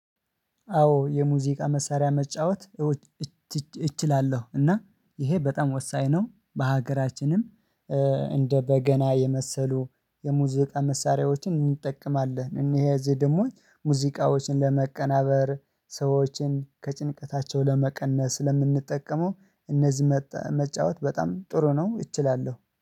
አዎ የሙዚቃ መሳሪያ መጫወት እወ እችላለ። እና ይሄ በጣም ወሳኝ ነው በሀገራችንም እንደ በገና የመሰሉ የሙዚቃ መሳሪያዎችን እንጠቀማለን። እነዚህ ደግሞ ሙዚቃዎችን ለመቀናበር ሰዎችን ከጭንቀታቸው ለመቀነስ ስለምንጠቀመው እነዚህ መጫወት በጣም ጥሩ ነው እችላለሁ።